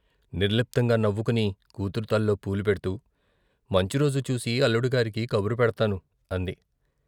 నిర్లిప్తంగా నవ్వుకుని కూతురు తల్లో పూలు పెడ్తూ "మంచిరోజు చూసి అల్లుడిగారికి కబురు పెడ్తాను " అంది.